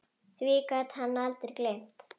Því gat hann aldrei gleymt.